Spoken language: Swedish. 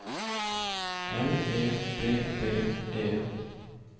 L E D D E